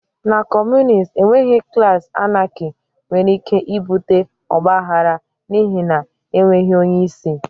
Na Kọmunist enweghị klaasị Anarchy nwere ike ibute ọgba aghara n'ihi na enweghị onye isi